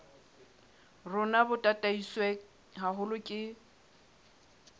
rona bo tataiswe haholo ke